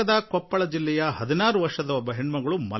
ಈ ಜಿಲ್ಲೆಯ ಹದಿನಾರು ವರ್ಷ ವಯಸ್ಸಿನ ಹೆಣ್ಣು ಮಗು ಮಲ್ಲಮ್ಮ